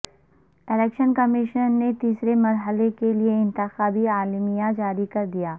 election commission نے تیسرے مرحلہ کیلئے انتخابی اعلامیہ جاری کردیا